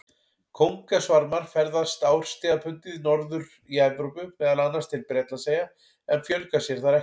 Kóngasvarmar ferðast árstíðabundið norðar í Evrópu, meðal annars til Bretlandseyja, en fjölga sér þar ekki.